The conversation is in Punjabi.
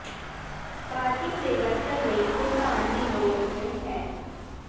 ਪਾਰਕਿੰਗ ਦੇ ਵਰਤਣ ਲਈ ਭੁਗਤਾਨ ਦੀ ਲੋੜ ਨਹ ਹੈ